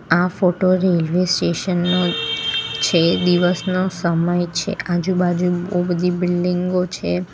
આ photo railway station નો છે દિવસનો સમય છે આજુબાજુ બહુ બધી બિલ્ડિંગો છે.